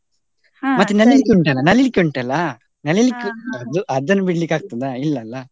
ನಲಿಲಿಕೆ ಉಂಟಾಲ್ಲ ನಲಿಲಿಕೆ ಉಂಟಾಲ್ಲ ಅದು ಅದನ್ನು ಬಿಡ್ಲಿಕ್ಕೆ ಆಗ್ತದ ಇಲ್ಲ ಅಲ್ಲ.